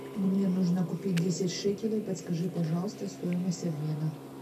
мне нужно купить десять шекелей подскажи пожалуйста стоимость обмена